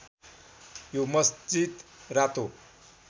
यो मस्जित रातो